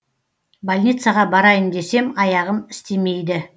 больницаға барайын десем аяғым істемейді